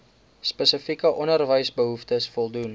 spesifieke onderwysbehoeftes voldoen